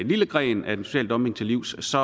lille gren af den sociale dumping til livs så